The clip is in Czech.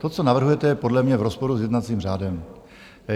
To, co navrhujete, je podle mě v rozporu s jednacím řádem.